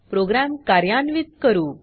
programme कार्यान्वीत करू